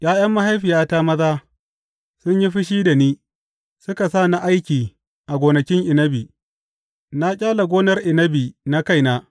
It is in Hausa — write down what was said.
’Ya’yan mahaifiyata maza sun yi fushi da ni suka sa ni aiki a gonakin inabi; na ƙyale gonar inabi na kaina.